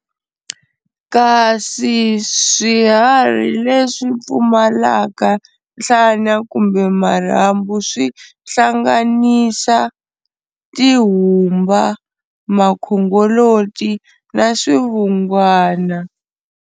Kasi swiharhi leswi pfumalaka nhlana kumbe marhambu swi hlanganisa, Tihumba, Makhongoloti na Swivungwana.